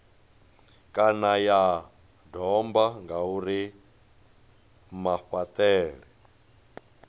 kana ya domba ngauri mafhaṱele